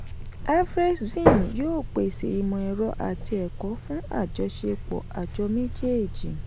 afrexim yóò pèsè ìmọ̀ ẹ̀rọ àti ẹ̀kọ́ fún àjọṣepọ̀ àjọ méjèèjì.